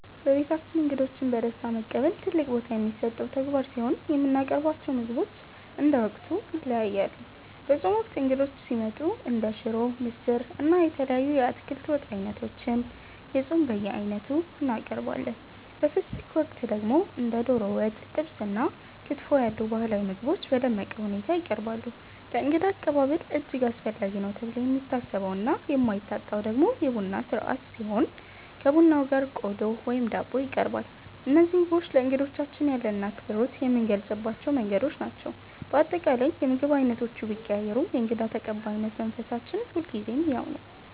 በቤታችን እንግዶችን በደስታ መቀበል ትልቅ ቦታ የሚሰጠው ተግባር ሲሆን፣ የምናቀርባቸው ምግቦች እንደ ወቅቱ ይለያያሉ። በጾም ወቅት እንግዶች ሲመጡ እንደ ሽሮ፣ ምስር፣ እና የተለያዩ የአትክልት ወጥ ዓይነቶችን (የጾም በየዓይነቱ) እናቀርባለን። በፍስግ ወቅት ደግሞ እንደ ዶሮ ወጥ፣ ጥብስ እና ክትፎ ያሉ ባህላዊ ምግቦች በደመቀ ሁኔታ ይቀርባሉ። ለእንግዳ አቀባበል እጅግ አስፈላጊ ነው ተብሎ የሚታሰበውና የማይታጣው ደግሞ የቡና ሥርዓት ሲሆን፣ ከቡናው ጋር ቆሎ ወይም ዳቦ ይቀርባል። እነዚህ ምግቦች ለእንግዶቻችን ያለንን አክብሮት የምንገልጽባቸው መንገዶች ናቸው። በአጠቃላይ፣ የምግብ ዓይነቶቹ ቢቀያየሩም የእንግዳ ተቀባይነት መንፈሳችን ሁልጊዜም ያው ነው።